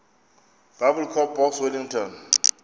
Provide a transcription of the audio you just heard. biblecor box wellington